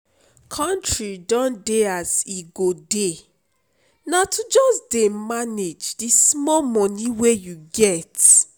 country don dey as e go dey na to just dey manage the small money you dey get